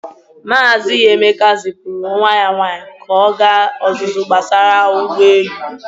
Maazị Emeka zipụrụ nwa ya nwaanyị ka ọ gaa ọzụzụ gbasara ụgbọelu.